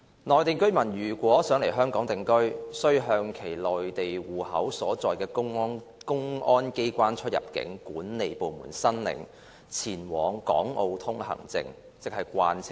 內地居民如欲來港定居，須向其內地戶口所在地的公安機關出入境管理部門申領《前往港澳通行證》。